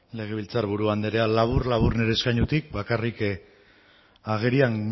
legebiltzar buru andrea labur labur nire eskainotik bakarrik agerian